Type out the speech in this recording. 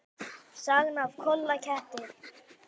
Sagan af Kolla ketti.